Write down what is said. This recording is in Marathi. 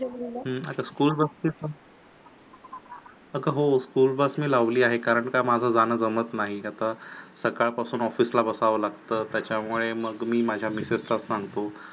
अगं हो School bus मी लावली आहे कारण माझं जाण का जमत नाही. आता सकाळपासून office ला बसावं लागतं त्याच्या मुळे मी माझ्या मिसेसला सांगतो